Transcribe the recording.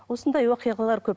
осындай оқиғалар көп